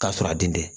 K'a sɔrɔ a den tɛ